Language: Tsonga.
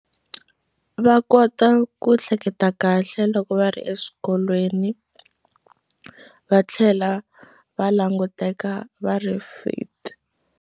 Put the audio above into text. Va kota ku hleketa kahle loko va ri eswikolweni va tlhela va languteka va ri fit.